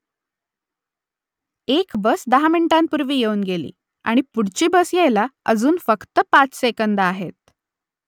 एक बस दहा मिनिटांपूर्वी येऊन गेली आणि पुढची बस यायला अजून फक्त पाच सेकंदं आहेत